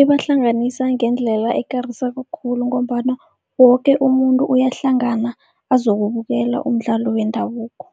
Ibahlanganisa ngendlela ekarisako khulu, ngombana woke umuntu uyahlangana azokubukela umdlalo wendabuko